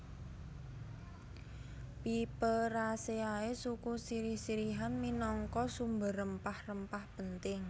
Piperaceae suku sirih sirihan minangka sumber rempah rempah penting